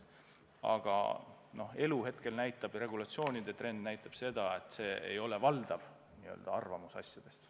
Aga elu praegu näitab ja regulatsioonide trend näitab seda, et see ei ole valdav arvamus asjadest.